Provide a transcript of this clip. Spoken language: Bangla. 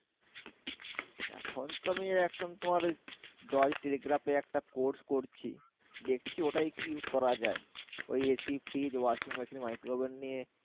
এখন তো আমি এখন তোমার ওই জয় teligraph এ একটা course করছি দেখছি ওটাই কি করা যায় ওই AC Fridge Washing Machine Microwave নিয়ে